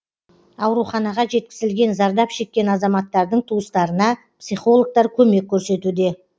ауруханаға жеткізілген зардап шеккен азаматтардың туыстарына психологтар көмек көрсетуде